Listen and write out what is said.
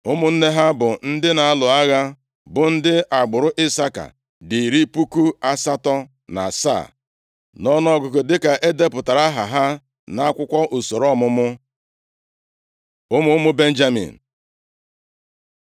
Ụmụnne ha bụ ndị na-alụ agha bụ ndị agbụrụ Isaka dị iri puku asatọ na asaa (87,000) nʼọnụọgụgụ, dịka e depụtara aha ha nʼakwụkwọ usoro ọmụmụ. Ụmụ ụmụ Benjamin